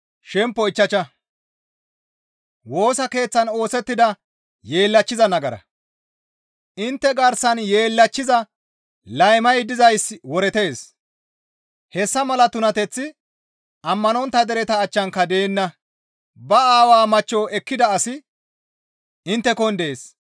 Intte garsan yeellachchiza laymay dizayssi woretees; hessa mala tunateththi ammanontta dereta achchanka deenna; ba aawa machcho ekkida asi inttekon dees.